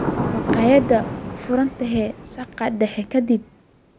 Makhaayaddee furan tahay saqda dhexe ka dib?